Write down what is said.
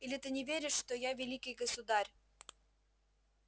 или ты не веришь что я великий государь